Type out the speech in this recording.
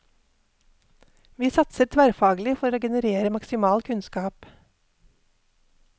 Vi satser tverrfaglig for å generere maksimal kunnskap.